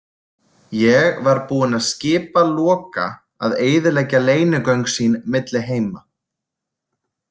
Ég var búinn að skipa Loka að eyðileggja leynigöng sín milli heima.